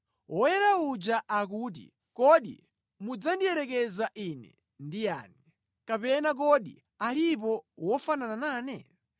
Woyera uja akuti, “Kodi mudzandiyerekeza Ine ndi yani? Kapena kodi alipo wofanana nane?”